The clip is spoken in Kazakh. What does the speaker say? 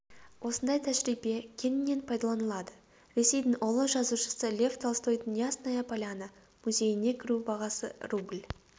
осындай тәжірибе кеңінен пайдаланылады ресейдің ұлы жазушысы лев толстойдың ясная поляна музейіне кіру бағасы рубль